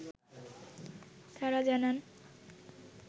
তারা জানান